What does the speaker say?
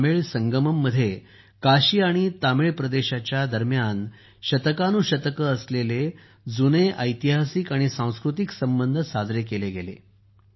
तमिळ संगममध्ये काशी आणि तामिळ प्रदेशाच्या दरम्यान शतकानुशतके असलेले जुने ऐतिहासिक आणि सांस्कृतिक संबंध साजरे केले गेले